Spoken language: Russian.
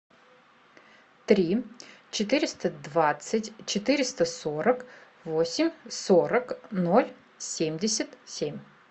три четыреста двадцать четыреста сорок восемь сорок ноль семьдесят семь